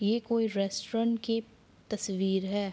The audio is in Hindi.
ये कोई रेस्टोरेंट की तस्वीर है।